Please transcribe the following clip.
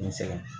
N sɛgɛn